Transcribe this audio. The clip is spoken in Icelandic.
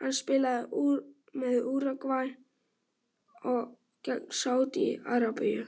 Hann spilaði með Úrúgvæ gegn Sádi Arabíu